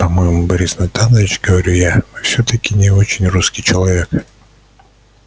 по-моему борис натанович говорю я вы всё-таки не очень русский человек